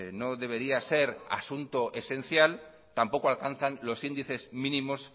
no debería ser asunto esencial tampoco alcanzan los índices mínimos